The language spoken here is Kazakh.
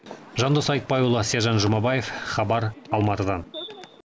жандос айтбайұлы сержан жұмабаев хабар алматыдан